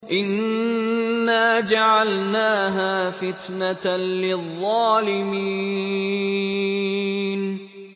إِنَّا جَعَلْنَاهَا فِتْنَةً لِّلظَّالِمِينَ